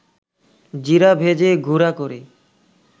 জিরা ভেজে গুড়া করে